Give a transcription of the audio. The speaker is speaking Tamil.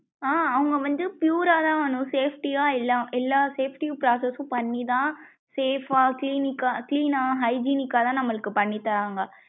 ஹம் அவுங்க வந்து pure தான் அனு safety யா எல்லா safety process ம் பண்ணிதான் safe வா clinic கா clean யா hygienic கா தான் நம்மளுக்கு பண்ணி தராங்க.